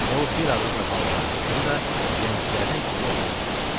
O bir ağız da bağırandan sonra zəncilərdən biri oxumağa başladı.